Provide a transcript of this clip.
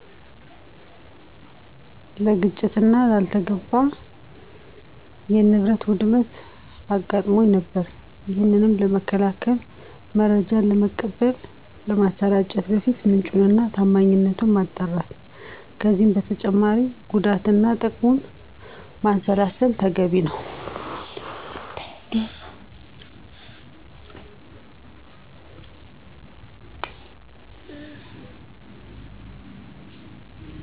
ለግጭትና ላልተገባ የንብረት ውድመት አጋጥሞ ነበር። ይሄንንም ለመከላከል መረጃን ከመቀበል፣ ከማሰራጨት በፊት ምንጩን እና ታማኝነቱን ማጣራት ከዚህም በተጨማሪ ጉዳትና ትቅሙን ማንሰላሰል ተገቢ ነው።